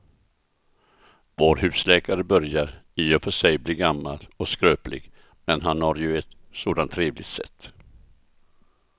Vår husläkare börjar i och för sig bli gammal och skröplig, men han har ju ett sådant trevligt sätt!